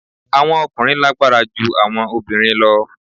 Awọn ọkunrin lagbara ju awọn obinrin lọ